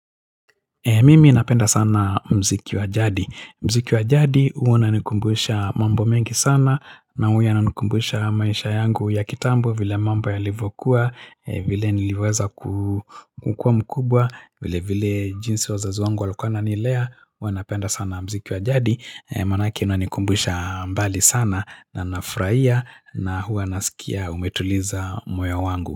Mimi napenda sana mziki wa jadi. Mziki wa jadi huwa unanikumbusha mambo mengi sana na huwa yananikumbusha maisha yangu ya kitambo vile mambo yalivyokuwa, vile niliweza kukua mkubwa, vile vile jinsi wazazi wangu walukuwa wananilea. Huwa napenda sana mziki wa jadi. Manake inanikumbusha mbali sana na nafrahia na huwa nasikia umetuliza moyo wangu.